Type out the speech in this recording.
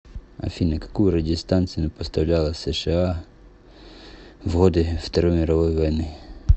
афина какую радиостанцию поставляла сша в годы второй мировой войны